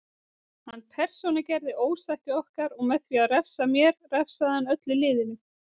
Hann persónugerði ósætti okkar og með því að refsa mér refsaði hann öllu liðinu.